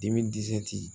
Dimi disi tɛ